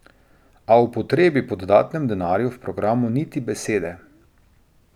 A o potrebi po dodatnem denarju v programu niti besede.